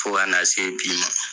Fo ka na se bi ma.